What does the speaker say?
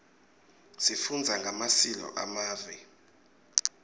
sifundza ngemasileo emave